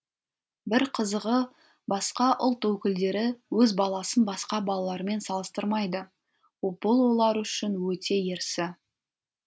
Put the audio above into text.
бір қызығы басқа ұлт өкілдері өз баласын басқа балалармен салыстырмайды бұл олар үшін өте ерсі